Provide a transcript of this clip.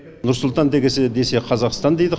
нұр сұлтан десе қазақстан дейді